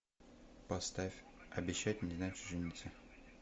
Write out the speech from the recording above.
поставь обещать не значит жениться